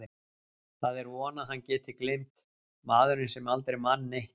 Það er von að hann geti gleymt, maðurinn sem aldrei man neitt.